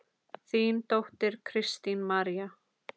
Þín dóttir, Kristín María.